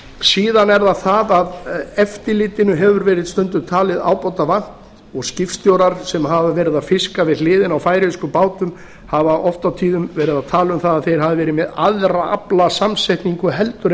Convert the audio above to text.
síðan er það það að eftirlitinu hefur stundum verið talið ábótavant og skipstjórar sem hafa verið að fiska við hliðina á færeyskum bátum hafa oft og tíðum verið að tala um það að þeir hafi verið með aðra aflasamsetningu heldur en